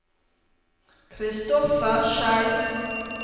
Christoffer Schei